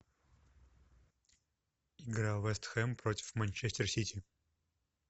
игра вест хэм против манчестер сити